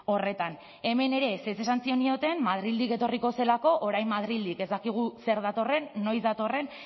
horretan hemen ere ezetz esan zenioten madrildik etorriko zelako orain madrildik ez dakigu zer datorren noiz datorren